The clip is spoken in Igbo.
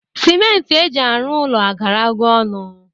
Sịmenti eji arụ ụlọ agarago ọnụ